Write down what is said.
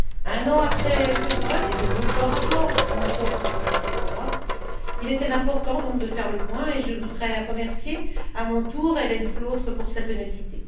Un an après ce vote et de nombreux rapports, entre autres, du Conseil de l'Europe, il était donc important de faire le point, et je voudrais remercier, à mon tour, Hélène Flautre pour sa ténacité.